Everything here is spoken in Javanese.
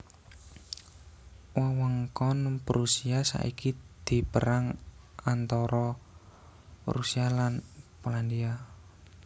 Wewengkon Prusia saiki dipérang antara Rusia lan Polandia